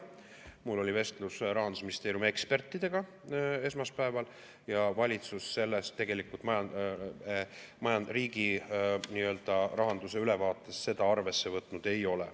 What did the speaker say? Mul oli esmaspäeval vestlus Rahandusministeeriumi ekspertidega, valitsus riigirahanduse ülevaates seda arvesse võtnud ei ole.